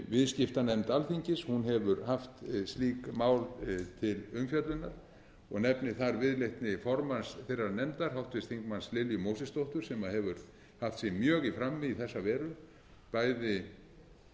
viðskiptanefnd alþingis hefur haft slík mál til umfjöllunar og ég nefni þar viðleitni formanns þeirrar nefndar háttvirtum þingmanni lilju mósesdóttur sem hefur haft sig mjög í frammi í þessa veru bæði með